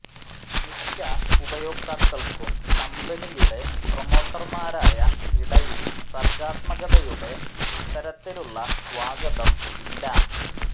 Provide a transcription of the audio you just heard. മിക്ക ഉപയോക്താക്കൾക്കും കമ്പനിയുടെ പ്രമോട്ടർമാരായ ഇടയിൽ സർഗാത്മകതയുടെ ഇത്തരത്തിലുള്ള സ്വാഗതം ഇല്ല